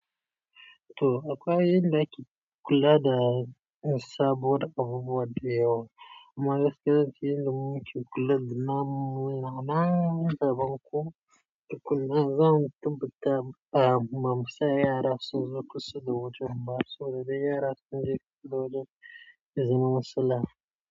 To akwai inda ake kula da saboda abubuwar dayawa. Amma gaskiyar ciki inda muke kula da naman, naman daban kuma. Dukkan nan zamu tabbatar a mamusa yara su zo kusa da wajen mu. Haba su zo da dai yara su je kusa da wajen izinin su lafiya.